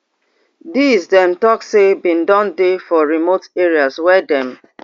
dis dem tok say bin don dey for remote areas wey dem